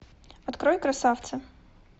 открой красавца